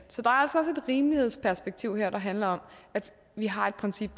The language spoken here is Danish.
rimelighedsperspektiv her der handler om at vi har et princip